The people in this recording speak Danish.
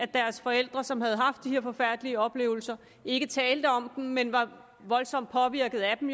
deres forældre som havde haft de her forfærdelige oplevelser ikke talte om dem men var voldsomt påvirket af dem